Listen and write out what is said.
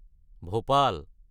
Bhopal